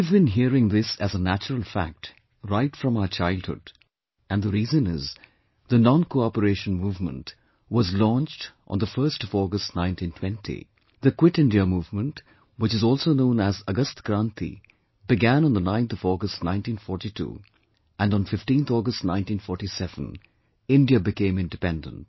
We have been hearing this as a natural fact right from our childhood and the reason is, the NonCooperation Movement was launched on the 1st of August 1920; the Quit India Movement, which is also known as 'Agast Kranti' began on the 9th of August 1942; and on 15thAugust 1947 India became independent